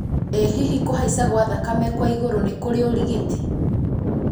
ĩ hihi kũhaica gwa thakame kwa igũrũ nĩ kũrĩ ũrigiti